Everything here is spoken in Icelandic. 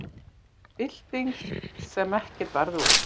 Bylting sem ekkert varð úr